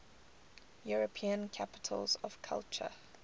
european capitals of culture